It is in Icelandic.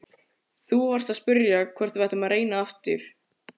Þú varst að spyrja hvort við ættum að reyna aftur.